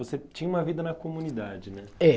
Você tinha uma vida na comunidade, né? É.